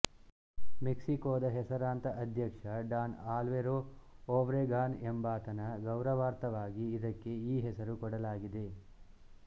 ಮೆಕ್ಸಿಕೋದ ಹೆಸರಾಂತ ಅಧ್ಯಕ್ಷ Don Alvaro Obregon ಎಂಬಾತನ ಗೌರವಾರ್ಥವಾಗಿ ಇದಕ್ಕೆ ಈ ಹೆಸರು ಕೊಡಲಾಗಿದೆ